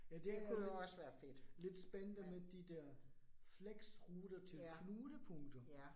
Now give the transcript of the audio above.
Ja det er lidt lidt spændende med de der fleksruter til knudepunkter